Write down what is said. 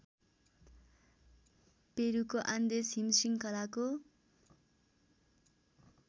पेरुको Andes हिमशृङ्खलाको